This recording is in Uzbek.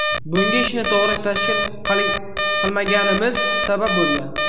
Bunga ishni to‘g‘ri tashkil qilmaganimiz sabab bo‘lgan.